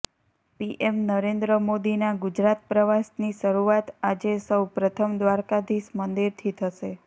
PM Narendra મોદીના ગુજરાત પ્રવાસની શરૂઆત આજે સૌ પ્રથમ દ્વારકાધીશ મંદિરથી થશે